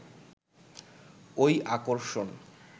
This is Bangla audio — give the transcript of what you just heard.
ওই আকর্ষণ